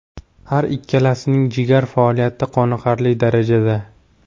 Har ikkilasining jigar faoliyati qoniqarli darajada!